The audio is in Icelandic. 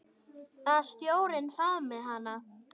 Að sjórinn faðmi hana.